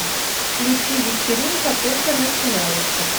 включи вечеринка только начинается